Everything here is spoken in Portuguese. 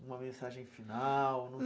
uma mensagem final?